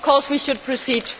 Of course we should proceed.